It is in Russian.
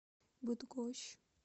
быдгощ